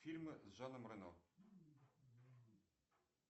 фильмы с жаном рено